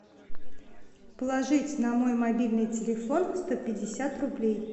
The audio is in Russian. положить на мой мобильный телефон сто пятьдесят рублей